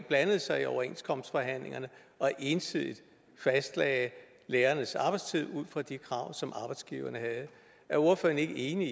blandede sig i overenskomstforhandlingerne og ensidigt fastlagde lærernes arbejdstid ud fra de krav som arbejdsgiverne havde er ordføreren ikke enig